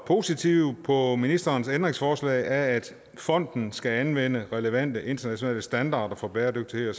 positivt på ministerens ændringsforslag om at fonden skal anvende relevante internationale standarder for bæredygtighed